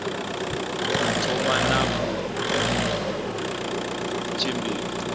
u thoma na u tshimbidza